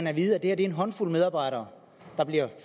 at vide at det er en håndfuld medarbejdere der bliver